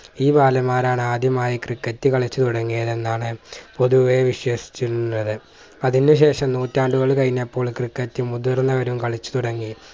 ഈ ബാലമ്മാരാണ് ആദ്യമായി ക്രിക്കറ്റ് കളിച്ചു തുടങ്ങിയതെന്നാണ് പൊതുവെ വിശേഷിച്ചിരുന്നത് അതിനു ശേഷം നൂറ്റാണ്ടുകൾ കഴിഞ്ഞപ്പോൾ ക്രിക്കറ്റ് മുതിർന്നവരും കളിച്ചു തുടങ്ങി